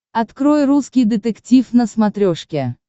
открой русский детектив на смотрешке